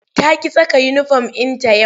Ta ƙi saka uniform ɗinta yau.